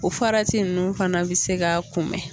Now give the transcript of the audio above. O farati nunnu fana bɛ se ka kun bɛn.